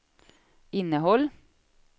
innehåll